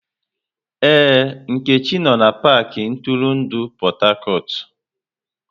Ee, Nkechi no na pakị ntụrụndụ Port Harcourt.